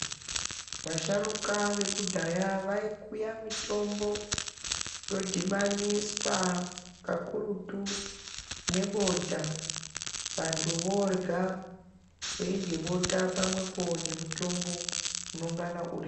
Vasharuka vekudhaya vaikuya mitombo yodhibaniswa kakurutu nebota. Vantu vorya veirye bota pamwepo nemutombo unongana uri.